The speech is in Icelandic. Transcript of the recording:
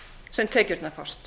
sem tekjurnar fást